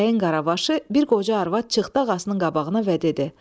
Bəyin qarabaşı bir qoca arvad çıxdı ağasının qabağına və dedi: